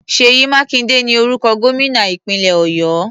Ṣèyí Mákindé ni orúkọ gómìnà ìpínlẹ̀ Ọ̀yọ́.